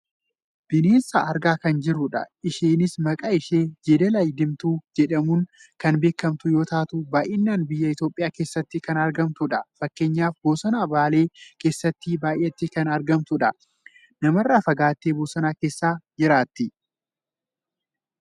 bineensa argaa kan jirrudha. isheenis maqaan ishee jeedala diimtuu jedhamuun kan beekamtu yoo taatu baayyinan biyya Itoophiyaa keessatti kan argamtudha. Fakkeenyaaf bosona Baalee keessatti baayyattee kan argamtudha. Namarraa fagaattee bosona keessa jiraatti.